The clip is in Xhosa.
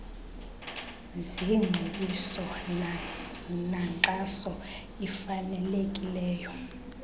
zingcebiso nankxaso ifanelekileyo